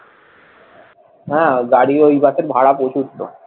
হ্যাঁ গাড়ি ওই বাসের ভাড়া প্রচুর তো